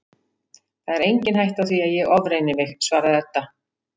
Það er engin hætta á því að ég ofreyni mig, svaraði Edda.